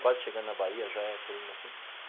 Quase chegando na Bahia, já é Polígono da Seca.